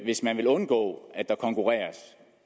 hvis man vil undgå at der konkurreres